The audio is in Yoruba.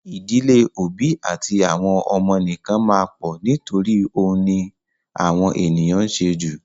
Ì̀dílé òbí àti àwọn ọmọ nìkan máa pọ̀ nítorí òun ni àwọn ènìyàn ń ṣe jù.